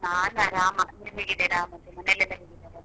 ನಾನ್ ಆರಾಮ. ನೀವ್ ಹೇಗಿದ್ದೀರಾ ಮತ್ತೆ ಮನೇಲಿ ಎಲ್ಲ ಹೇಗಿದ್ದಾರೆ?